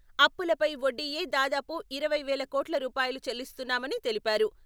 అప్పులపై వడ్డీయే దాదాపు ఇరవై వేల కోట్ల రూపాయలు చెల్లిస్తున్నామని తెలిపారు.